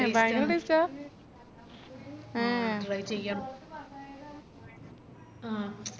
ഭയങ്കര taste ആ എ try ചെയ്യാം